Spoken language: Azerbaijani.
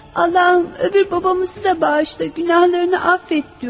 Allahım, o biri atamızı da bağışla, günahlarını əfv et deyirəm.